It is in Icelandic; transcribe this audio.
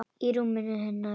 Í rúminu hennar.